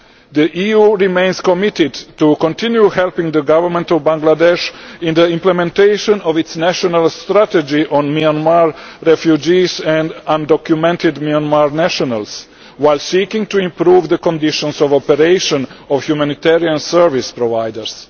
The EU remains committed to continuing to help the government of Bangladesh in the implementation of its national strategy on Myanmar refugees and undocumented Myanmar nationals, whilst seeking to improve the conditions of operation of humanitarian service providers.